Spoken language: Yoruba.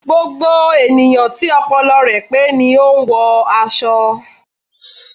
Gbogbo ènìyàn tí ọpọlọ rẹ pé ni o n wọ aṣọ